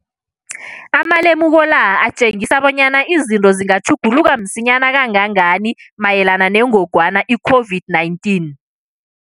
Amalemuko la atjengisa bonyana izinto zingatjhuguluka msinyana kangangani mayelana nengogwana i-COVID-19.